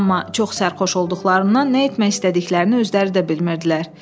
Amma çox sərxoş olduqlarından nə etmək istədiklərini özləri də bilmirdilər.